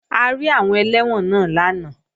A rí àwọn ẹlẹ́wọ̀n náà lánàá